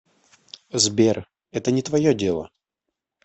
сбер это не твое дело